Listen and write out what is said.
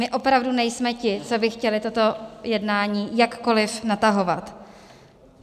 My opravdu nejsme ti, co by chtěli toto jednání jakkoli natahovat.